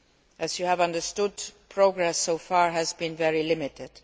As you have understood, progress so far has been very limited.